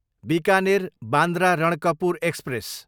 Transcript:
Bikaner, Bandra Ranakpur express